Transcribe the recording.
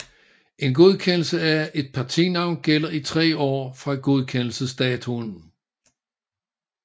En godkendelse af et partinavn gælder i 3 år fra godkendelsesdatoen